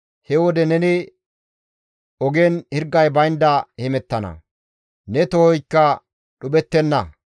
He wode neni ogen hirgay baynda hemettana; ne tohoykka dhuphettenna.